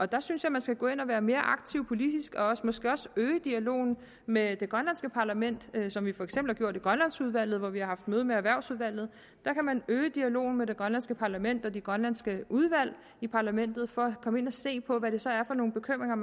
der synes jeg man skal gå ind og være mere aktiv politisk og måske også øge dialogen med det grønlandske parlament som vi for eksempel har gjort i grønlandsudvalget hvor vi har haft møde med erhvervsudvalget der kan man øge dialogen med det grønlandske parlament og de grønlandske udvalg i parlamentet for at komme ind og se på hvad det så er for nogle bekymringer